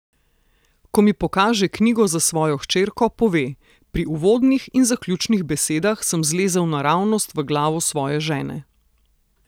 Ko mi pokaže knjigo za svojo hčerko, pove: "Pri uvodnih in zaključnih besedah sem zlezel naravnost v glavo svoje žene.